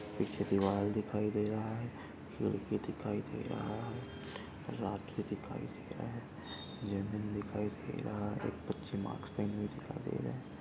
पीछे दीवार दिखाई दे रहा है खिड़की दिखाई दे रहा है राखी दिखाई दे रहा है जमीन दिखाई दे रहा है बच्चे हुए दिखाई दे रहे है।